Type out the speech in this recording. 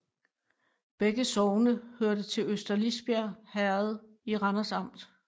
Begge sogne hørte til Øster Lisbjerg Herred i Randers Amt